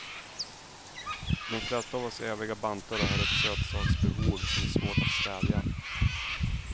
De flesta av oss eviga bantare har ett sötsaksbehov som är svårt att stävja.